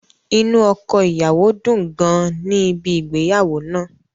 Inu ọkọ-iyawo dun gan an ni ibi ìgbéyàwó naa.